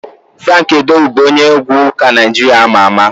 Franki Edwọdụ bụ onye egwu ụka Naijiria ama ama.